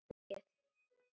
Ekki þrífa þær mikið.